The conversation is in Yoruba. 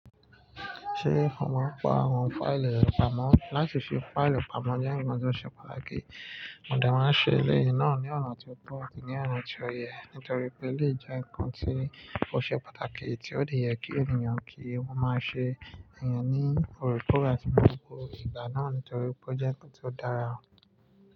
Ṣé ó mọ̀ pa àwọn fáìlì ìrọ́pamọ́ láti fi fáìlì pamọ́ jẹ́ ǹkan tó ṣe pàtàkì? Àwọn ọdẹ máa ń ṣe ilé yìí náà ní ọ̀nà tí ó tọ́ àti ní ọ̀nà tí ó yẹ, nítorí pé eléyìí jẹ́ ǹkan tí ò ṣe pàtàkì tí ó lè yẹ kí ènìyàn kí wọ́n máa ṣe àyàn ní orekore àti gbogbo ìgbà náà nítorí pé jẹ́ kí ó dára.